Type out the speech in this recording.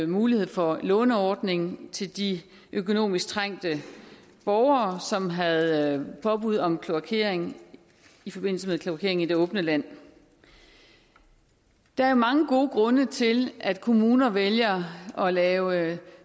mulighed for en låneordning til de økonomisk trængte borgere som havde påbud om kloakering i forbindelse med kloakering i det åbne land der er mange gode grunde til at kommuner vælger at lave